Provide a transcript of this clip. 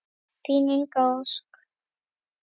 Þín Inga Ósk.